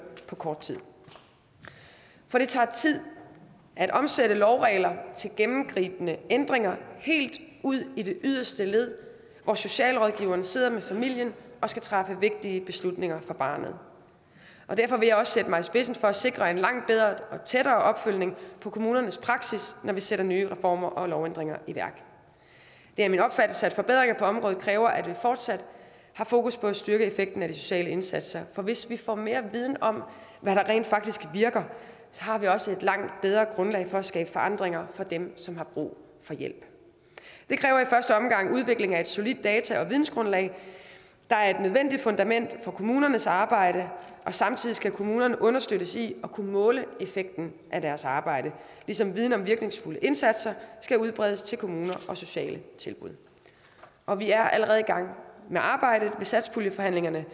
på kort tid for det tager tid at omsætte lovregler til gennemgribende ændringer helt ud i det yderste led hvor socialrådgiverne sidder med familien og skal træffe vigtige beslutninger for barnet derfor vil jeg også sætte mig i spidsen for at sikre en langt bedre og tættere opfølgning på kommunernes praksis når vi sætter nye reformer og lovændringer i værk det er min opfattelse at forbedringer på området kræver at vi fortsat har fokus på at styrke effekten af de sociale indsatser for hvis vi får mere viden om hvad der rent faktisk virker har vi også et langt bedre grundlag for at skabe forandringer for dem som har brug for hjælp det kræver i første omgang udvikling af et solidt data og vidensgrundlag der er et nødvendigt fundament for kommunernes arbejde og samtidig skal kommunerne understøttes i at kunne måle effekten af deres arbejde ligesom viden om virkningsfulde indsatser skal udbredes til kommuner og sociale tilbud og vi er allerede i gang med arbejdet ved satspuljeforhandlingerne